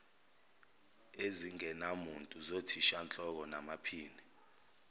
ezingenamuntu zothishanhloko namaphini